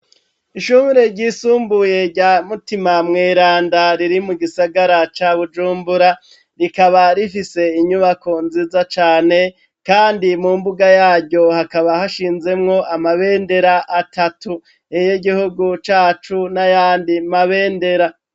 Ishuri ryisumbuye rya mutima mweranda riri mu gisagara ca bujumbura rikaba rifise inyubako nziza cane kandi mu mbuga yaryo hakaba hashinzemwo amabendera atatu iryi gihugu cacu n'ayandi mabendera.